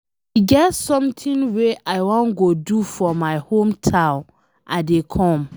E get something wey I wan go do for my hometown, I dey come.